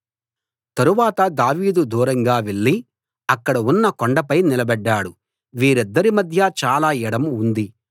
తరువాత దావీదు దూరంగా వెళ్ళి అక్కడ ఉన్న కొండపై నిలబడ్డాడు వీరిద్దరి మధ్యా చాలా ఎడం ఉంది